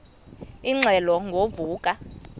ingxelo ngo vuko